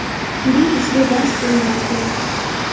Bu bizga dars bo‘lmog‘i kerak.